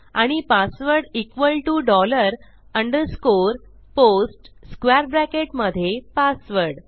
आणि password equal TO dollar underscore post square bracket मधे password